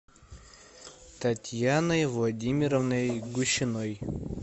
татьяной владимировной гущиной